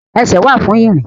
Ẹsẹ̀ wà fún ìrìn